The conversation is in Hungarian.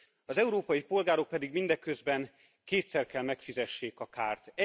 Az európai polgárok pedig mindeközben kétszer kell megfizessék a kárt.